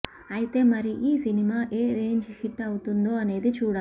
అయితే మరి ఈ సినిమా ఎ రేంజ్ హిట్ అవుతుందో అనేది చూడాలి